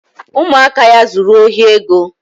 Ụmụaka ya zuru ohi ego